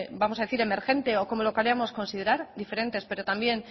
vamos a decir emergente o como lo queramos considerar diferentes pero también